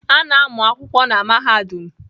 A na-amụ akwụkwọ na mahadum